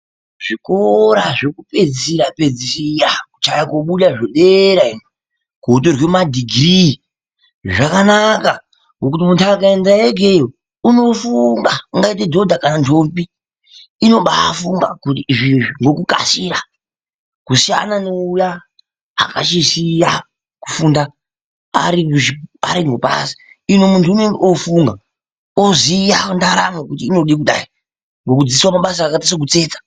Zvikora zvekupedzisirapedzisira kuchaye kobuda zvedera iyo kotorwe madhigirii zvakanaka ngokuti muntu akaenda ikeyo unofunga ungaite dhodha kanandombi inobafunga kuti izvi-izvi ngokukasira kusiyana neuya akachisiya kufunda ari mubasa uyu munhu unonga ofunga ngekudzidziswe mabasa akaita sekutsetsa.